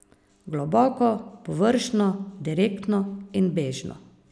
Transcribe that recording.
Globoko, površno, direktno in bežno.